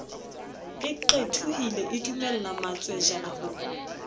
e qethohile edumella matswejana ho